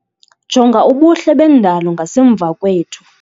Jonga ubuhle bendalo ngasemva kwethu.